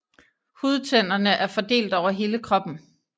Hudtænderne er fordelt over hele kroppen